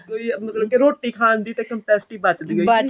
ਕੋਈ ਮਤਲਬ ਕੀ ਰੋਟੀ ਖਾਨ ਦੀ ਤਾਂ capacity ਬੱਚਦੀ ਹੀ ਨਹੀਂ